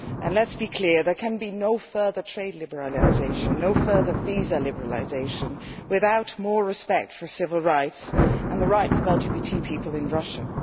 Let us be clear there can be no further trade liberalisation and no further visa liberalisation without more respect for civil rights and for the rights of LGBT people in Russia.